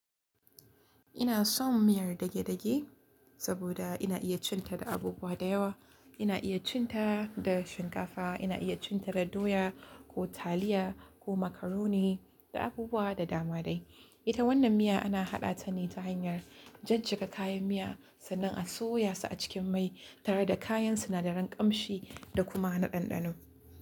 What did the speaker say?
Ina son miyar dage-dage saboda ina iya cin ta da abubuwa da yawa. Ina iya cin ta da shinkafa, ina iya cin ta da doya ko taliya ko macaroni da abubuwa da dama dai. Ita wannan miya ana haɗa ta ne ta hanyar jajjiga kayan miya sannan a soya su a cikin mai tare da kayan sinadaran ƙamshi da kuma na ɗanɗano.